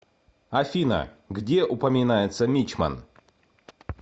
афина где упоминается мичман